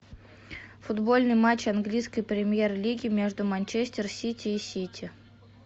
футбольный матч английской премьер лиги между манчестер сити и сити